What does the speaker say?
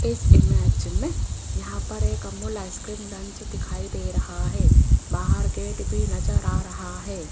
इस इमेज में यहां पर एक अमूल आइसक्रीम लंच दिखाई दे रहा है बाहर गेट भी नजर आ रहा है।